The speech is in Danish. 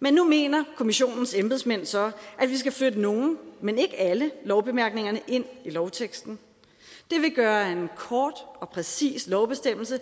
men nu mener kommissionens embedsmænd så at vi skal flytte nogle men ikke alle lovbemærkningerne ind i lovteksten det vil gøre en kort og præcis lovbestemmelse